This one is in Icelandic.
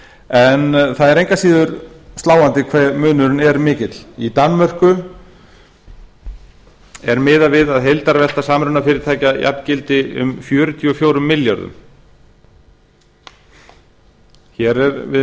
en það er engu að síður sláandi hve munurinn er mikill í danmörku er miðað við að heildarvelta samrunafyrirtækja jafngildi um fjörutíu og fjórum milljörðum hér